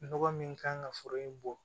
Nɔgɔ min kan ka foro in bɔ